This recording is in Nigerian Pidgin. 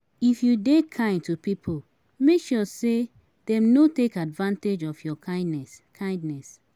If you de kind to pipo make sure say dem no take advantage of your kindness kindness